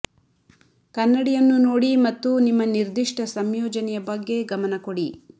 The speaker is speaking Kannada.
ಕನ್ನಡಿಯನ್ನು ನೋಡಿ ಮತ್ತು ನಿಮ್ಮ ನಿರ್ದಿಷ್ಟ ಸಂಯೋಜನೆಯ ಬಗ್ಗೆ ಗಮನ ಕೊಡಿ